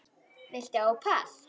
Viltu ópal?